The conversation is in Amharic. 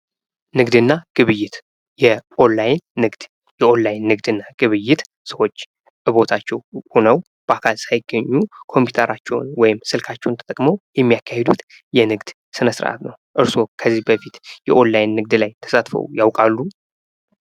ንግድ እና ግብይት ። የኦንላይን ንግድ ፡ የኦንላይን ንግድ እና ግብይት ሰዎች በቦታቸው ሁነው በአካል ሳይገኙ ኮምፒተራቸውን ወይም ስልካቸውን ተጠቅመው የሚያካሂዱት የንግድ ስነስርአት ነው ። እርሶ ከዚህ በፊት የኦንላይን ንግድ ላይ ተሳትፈው ያውቃሉ?